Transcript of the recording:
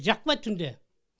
жақпайды түнде